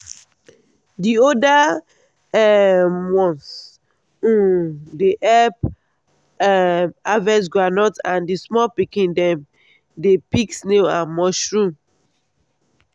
the older um ones um dey help um harvest groundnut and the small pikin dem dey pick snail and mushroom.